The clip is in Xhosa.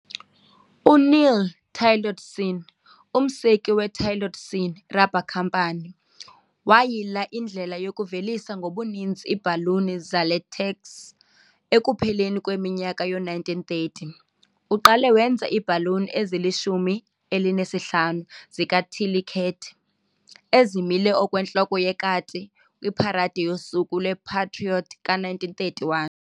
UNeil Tillotson, umseki weTillotson Rubber Company, wayila indlela yokuvelisa ngobuninzi iibhaluni zelatex ekupheleni kweminyaka yoo-1930. Uqale wenza iibhaluni ezili-15 zika "Tilly Cat" ezimile okwentloko yekati kwiparade yoSuku lwePatrioti ka-1931.